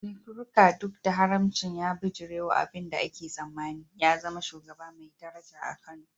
Nkiruka, duk da haramcin, ya bijirewa abin da ake tsammani, ya zama shugaba mai daraja a Kano.